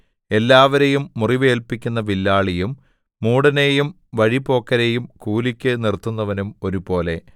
എല്ലാവരെയും മുറിവേല്പിക്കുന്ന വില്ലാളിയും മൂഢനെയും വഴിപോക്കരെയും കൂലിക്ക് നിർത്തുന്നവനും ഒരുപോലെ